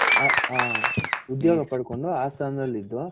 ಉದ್ಯೋಗ ಪಡ್ಕೊಂಡು ಆ ಸ್ಥಾನದಲ್ ಇದ್ದು